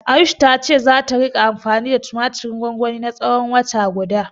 Ayush ta ce zata ringa anfani da tumatirin gwangwanin na tsawon wata guda.